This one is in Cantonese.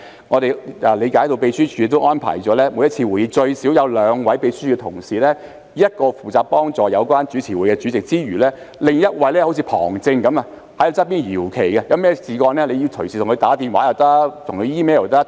我們理解秘書處安排了每次會議最少有兩位秘書處同事負責，一位負責協助主持會議的主席，另一位則像旁證般在旁邊搖旗，一旦有何問題，議員可以隨時致電或以 email 通知他。